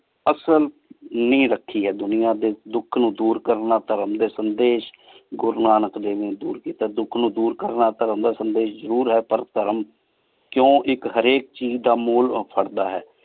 ਅਸਲ ਬੁਨ੍ਯਾਦ ਰਾਖੀ ਆਯ ਦੁਨਿਯਾ ਡੀ ਦੁਖ ਨੂ ਦੂਰ ਕਰਨ ਨਾਲ ਧਰਮ ਡੀ ਸੰਦੇਸ਼ ਗੁਰੂ ਨਾਨਕ ਦੇਵ ਨੀ ਦੂਰ ਕੀਤਾ ਆਯ ਦੁਖ ਨੂ ਦੂਰ ਕਰਨ ਨਾਲ ਧਰਮ ਦਾ ਸਦੇਹ ਜ਼ਰੂਰ ਹੈ ਪਰ ਧਰਮ ਕੁੰ ਇਕ ਹਰ ਇਕ ਚੀਜ਼ ਦਾ ਮੋਲ ਫਾਰਦਾ ਆਯ